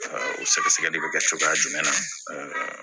O sɛgɛsɛgɛli bɛ kɛ cogoya jumɛn na